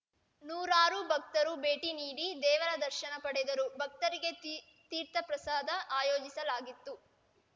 ನೂರಾರು ಭಕ್ತರು ಭೇಟಿ ನೀಡಿ ದೇವರ ದರ್ಶನ ಪಡೆದರು ಭಕ್ತರಿಗೆ ತೀ ತೀರ್ಥಪ್ರಸಾದ ಆಯೋಜಿಸಲಾಗಿತ್ತು